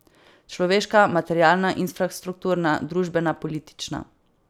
Človeška, materialna, infrastrukturna, družbena, politična.